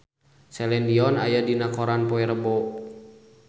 Celine Dion aya dina koran poe Rebo